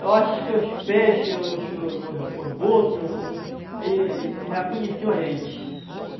Eu acho que os peixes, os os os os botos, os os e e já conheram a gente.